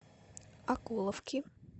окуловки